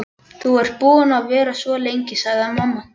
Þú ert búin að vera svo lengi, sagði mamma.